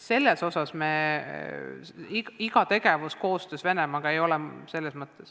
Selles mõttes iga tegevus koostöös Venemaaga ei tähenda midagi halba.